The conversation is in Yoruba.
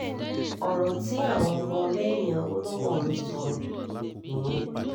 ọ̀rọ̀ tí àwọn ọmọlẹ́yìn awolowo ń sọ nìyẹn